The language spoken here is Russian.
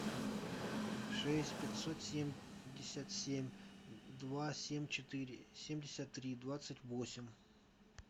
шесть пятьсот семьдесят семь два семь четыре семьдесят три двадцать восемь